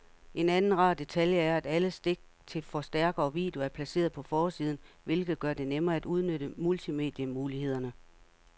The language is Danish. En anden rar detalje er, at alle stik til forstærker og video er placeret på forsiden, hvilket gør det nemmere at udnytte multimedie-mulighederne.